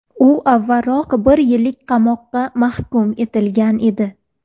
U avvalroq bir yillik qamoqqa mahkum etilgan edi.